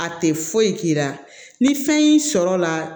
A tɛ foyi k'i la ni fɛn y'i sɔrɔ la